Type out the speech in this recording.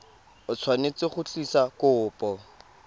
o tshwanetse go tlisa kopo